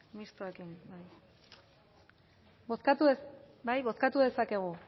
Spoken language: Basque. bozkatu bai bozkatu dezakegu